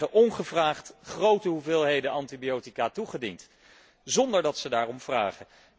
Die krijgen ongevraagd grote hoeveelheden antibiotica toegediend zonder dat ze daarom vragen.